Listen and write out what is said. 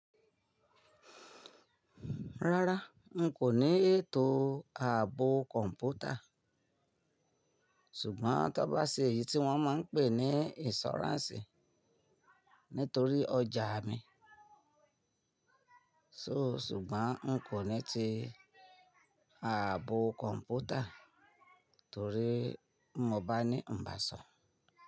Rárá, n kò ní ètò ààbò kọ̀ǹpútà, ṣùgbọ́n ta bá ṣe èyí tí wọ́n máa ń pè ní ìnsùráǹsì nítorí ọjà mi. So ṣùgbọ́n n kò ní ti ààbò kọ̀ǹpútà torí mo bá ní ń bá sọ.